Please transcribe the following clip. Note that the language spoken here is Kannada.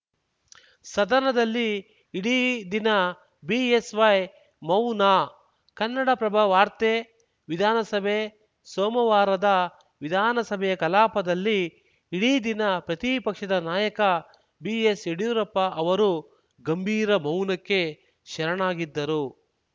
ಸದನದಲ್ಲಿ ಇಡೀ ದಿನ ಬಿಎಸ್‌ವೈ ಮೌನ ಕನ್ನಡಪ್ರಭ ವಾರ್ತೆ ವಿಧಾನಸಭೆ ಸೋಮವಾರದ ವಿಧಾನಸಭೆಯ ಕಲಾಪದಲ್ಲಿ ಇಡೀ ದಿನ ಪ್ರತಿಪಕ್ಷದ ನಾಯಕ ಬಿಎಸ್‌ಯಡಿಯೂರಪ್ಪ ಅವರು ಗಂಭೀರ ಮೌನಕ್ಕೆ ಶರಣಾಗಿದ್ದರು